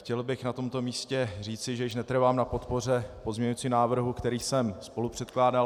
Chtěl bych na tomto místě říci, že již netrvám na podpoře pozměňujícího návrhu, který jsem spolupředkládal.